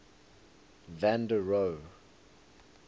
van der rohe